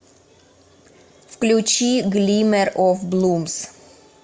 включи глиммер оф блумс